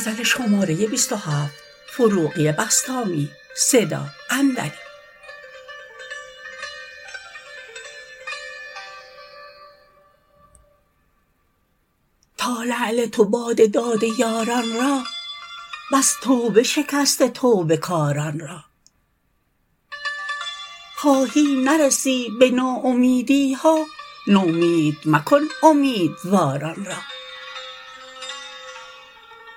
تا لعل تو باده داده یاران را بس توبه شکسته توبه کاران را خواهی نرسی به ناامیدی ها نومید مکن امیدواران را